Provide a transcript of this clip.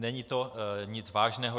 Není to nic vážného.